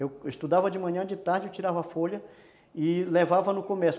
Eu estudava de manhã, de tarde eu tirava a folha e levava no comércio.